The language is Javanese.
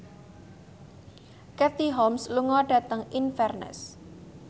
Katie Holmes lunga dhateng Inverness